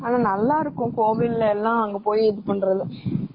ஆனா நல்லா இருக்கும் கோவில்ல எல்லாம் போய் இது பண்றது.